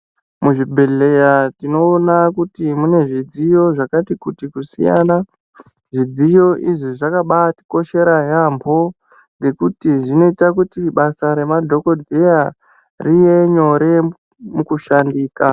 Muzvibhedhlera tinoona kuti mune zvidziyo zvakati kuti kusiyana. Zvidziyo izvi zvakabaatokoshera yaamho ngekuti zvinoite kuti basa remadhokodheya rive nyore mukushandika.